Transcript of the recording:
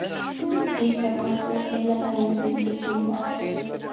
Dísa, kanntu að spila lagið „Undir þínum áhrifum“?